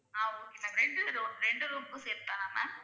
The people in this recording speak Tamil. ஆஹ் okay ma'am ரெண்டு room ரெண்டு room க்கும் சேர்த்துதானா ma'am